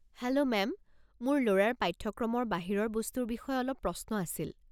Hello ma'am, মোৰ ল'ৰাৰ পাঠ্যক্ৰমৰ বাহিৰৰ বস্তুৰ বিষয়ে অলপ প্ৰশ্ন আছিল।